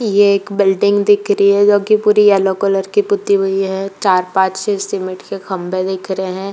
ये एक बिल्डिंग दिख रही है जो कि पूरी येलो कलर की पुती हुई है। चार पांच से सिमिट के खंबे दिख रहे हैं।